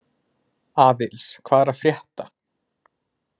Aðils, hvað er að frétta?